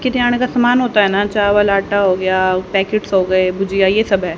किरयाने का सामान होता है ना चावल आटा हो गया पैकेट्स हो गए भुजिया ये सब है।